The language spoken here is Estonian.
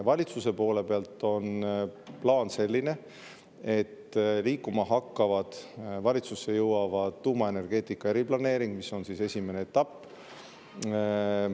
Valitsuse poole pealt on plaan selline, et liikuma hakkab, valitsusse jõuab tuumaenergeetika eriplaneering – see on esimene etapp.